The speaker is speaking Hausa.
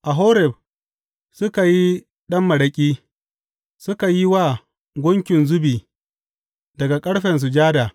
A Horeb suka yi ɗan maraƙi suka yi wa gunkin zubi daga ƙarfe sujada.